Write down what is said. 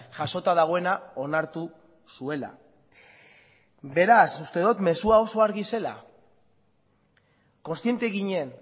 jasota dagoena onartu zuela beraz uste dot mezua oso argia zela kontziente ginen